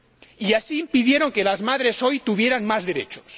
Y así se impidió que las madres hoy tuvieran más derechos.